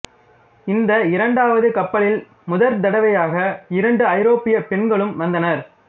இந்த இரண்டாவது கப்பலில் முடற்தடவையாக இரண்டு ஐரோப்பியப் பெண்களும் வந்தனர்